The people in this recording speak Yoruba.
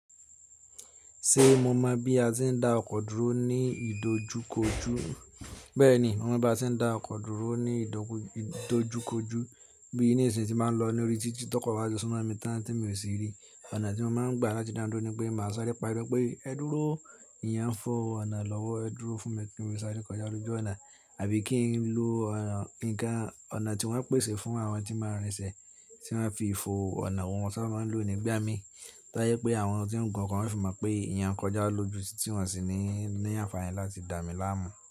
Ṣe mo mọ bi a ṣe n da ọkọ duro ni idojukoju? Bẹẹni, mo mọ bi a ṣe da ọkọ duro ni idojukoju bi ni isin ti ma lọ lori titi tọkọ wa ti sunmọ mi tan ti mi o si ri. Ọna ti mo máa ń gbà láti dá duró ni pé màá sáré pariwo pé ẹ dúró, eeyan fo ọ̀nà lọ́wọ́ ẹ dúró fún mi kí n lè sáré kọjá lójú ọ̀nà àbí kí n lo ọ̀nà tí wọ́n pèsè fún àwọn tí máa ń rìnṣẹ̀ tí wọ́n fi ń fọ ọ̀nà wọ́n sáábà máa ń lò nígbà mí tó yẹ pé àwọn tí ń gun ọkọ̀ máa fììmo pé eeyan kọjá lójú tí wọ́n sì ní àǹfààní láti dà mí láàmú.